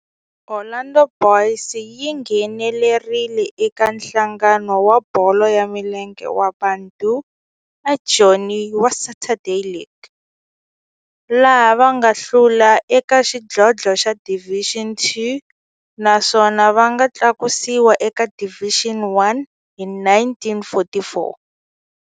Orlando Boys yi nghenelerile eka Nhlangano wa Bolo ya Milenge wa Bantu wa Joni wa Saturday League, laha va nga hlula eka xidlodlo xa Division Two naswona va nga tlakusiwa eka Division One hi 1944.